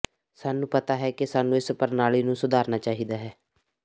ਸਾਨੂੰ ਪਤਾ ਹੈ ਕਿ ਸਾਨੂੰ ਇਸ ਪ੍ਰਣਾਲੀ ਨੂੰ ਸੁਧਾਰਨਾ ਚਾਹੀਦਾ ਹੈ